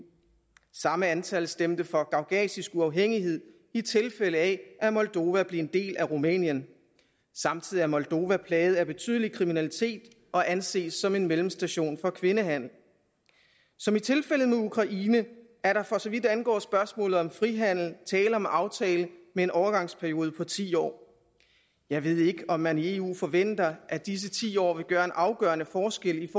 samme antal stemte for gagauzisk uafhængighed i tilfælde af at moldova blev en del af rumænien samtidig er moldova plaget af betydelig kriminalitet og anses som en mellemstation for kvindehandel som i tilfældet med ukraine er der for så vidt angår spørgsmålet om frihandel tale om en aftale med en overgangsperiode på ti år jeg ved ikke om man i eu forventer at disse ti år vil gøre en afgørende forskel i